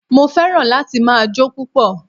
Mo fẹ́ràn láti ma jó púpọ̀